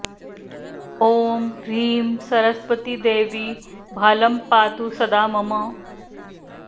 ॐ ह्रीं सरस्वती देवी भालं पातु सदा मम